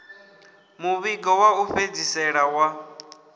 muvhigo wa u fhedzisela wa